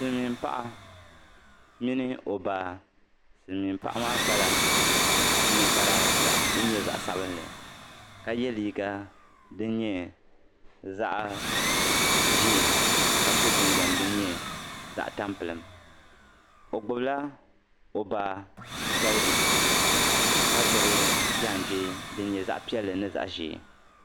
Silimiim paɣa mini o baa silimiim paɣa maa kpala niŋkpara din nyɛ zaɣ' sabilinli ka liiga din nyɛ zaɣ' ʒee ka so jinjam din nyɛ zaɣ' tampilim o gbibila o baa galige ka gbibi jaanjee din nyɛ zaɣ' piɛlli ni zaɣ' ʒee.